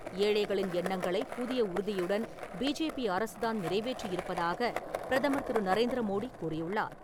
ஏழைகளின் எண்ணங்களை புதிய உறுதியுடன் பிஜேபி அரசு தான் நிறைவேற்றி இருப்பதாக பிரதமர் திரு. நரேந்திர மோடி கூறியுள்ளார்.